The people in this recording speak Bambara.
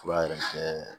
Fura yɛrɛ kɛ